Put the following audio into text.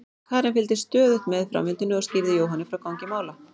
Karen fylgdist stöðugt með framvindunni og skýrði Jóhanni frá gangi mála.